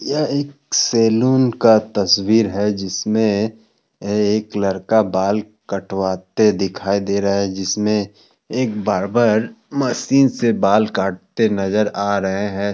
यह एक सैलून का तस्वीर है जिसमें एक लड़का कटवाते दिखाई दे रहा है जिसमें एक बार्बर मशीन से बाल काटते नजर आ रहे है।